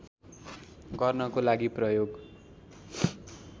गर्नको लागि प्रयोग